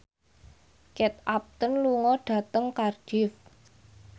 Kate Upton lunga dhateng Cardiff